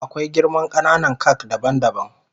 Akwai girman kananan kak daban daban.